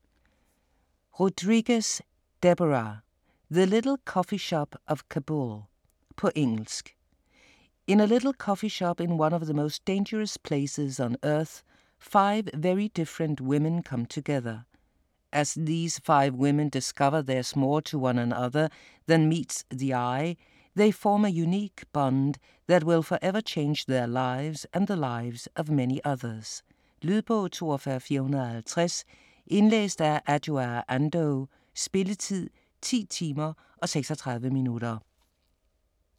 Rodriguez, Deborah: The little coffee shop of Kabul På engelsk. In a little coffee shop in one of the most dangerous places on earth, five very different women come together. As these five women discover there's more to one another than meets the eye, they form a unique bond that will for ever change their lives and the lives of many others. Lydbog 42450 Indlæst af Adjoa Andoh. Spilletid: 10 timer, 36 minutter.